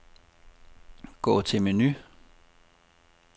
Gå til menu.